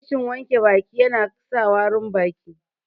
Rashin wanke baki ya na sa warin baki